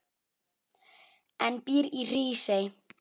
en býr í Hrísey.